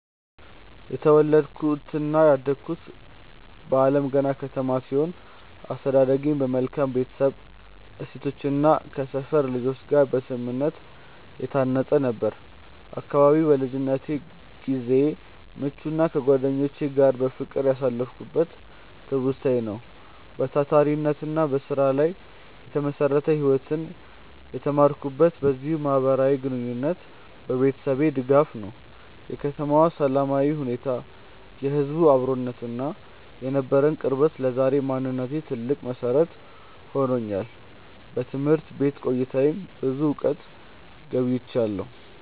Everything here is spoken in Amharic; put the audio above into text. የተወለድኩትና ያደግኩት በአለምገና ከተማ ሲሆን፣ አስተዳደጌም በመልካም የቤተሰብ እሴቶችና ከሰፈር ልጆች ጋር በስምምነት የታነጸ ነበር። አካባቢው ለልጅነት ጊዜዬ ምቹና ከጓደኞቼ ጋር በፍቅር ያሳለፍኩበት ትውስታዬ ነው። በታታሪነትና በስራ ላይ የተመሰረተ ህይወትን የተማርኩትም በዚሁ ማህበራዊ ግንኙነትና በቤተሰቤ ድጋፍ ነው። የከተማዋ ሰላማዊ ሁኔታ፣ የህዝቡ አብሮነትና የነበረን ቅርበት ለዛሬው ማንነቴ ትልቅ መሰረት ሆኖኛል። በትምህርት ቤት ቆይታዬም ብዙ እውቀትን ገብይቻለሁ።